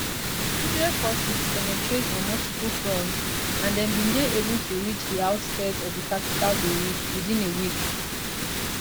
israel forces penetrate on multiple fronts and dem bin dey able to reach di outskirts of di capital beirut within a week